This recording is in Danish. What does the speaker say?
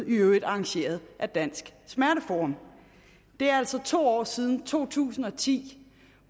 i øvrigt arrangeret af danske smerteforum det er altså to år siden to tusind og ti